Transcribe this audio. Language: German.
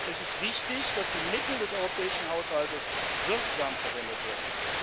Es ist wichtig, dass die Mittel des europäischen Haushalts wirksam verwendet werden.